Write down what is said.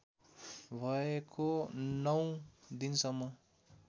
भएको नौ दिनसम्म